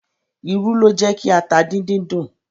Irú ló jẹ́ ki ata díndín dùn.